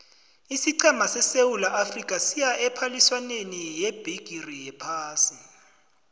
isiqhema sesewula afrika siya ephaliswaneni yebhigiri yephasi